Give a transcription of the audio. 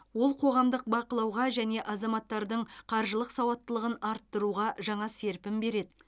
ол қоғамдық бақылауға және азаматтардың қаржылық сауаттылығын арттыруға жаңа серпін береді